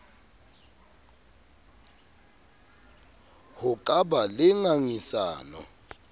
ho ka ba le ngangisano